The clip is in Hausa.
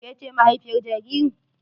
Ke ce mahaifiyar jaririn?